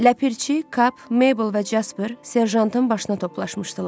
Ləpirçi, Kap, Meybl və Casper serjantın başına toplaşmışdılar.